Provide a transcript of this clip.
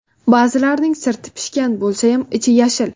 Ba’zilarining sirti pishgan bo‘lsayam, ichi yashil.